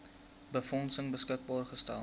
befondsing beskikbaar gestel